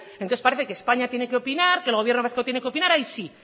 entonces parece que españa tiene que opinar que el gobierno vasco tiene que opinar ahí sí